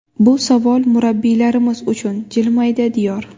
Bu savol murabbiylarimiz uchun, jilmaydi Diyor.